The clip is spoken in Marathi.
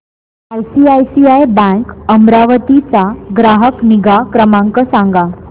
आयसीआयसीआय बँक अमरावती चा ग्राहक निगा क्रमांक सांगा